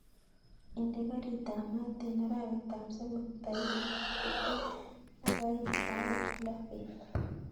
Indee garit ab maat en arawet ab somok taikit tibtem ak oeing sait loo beet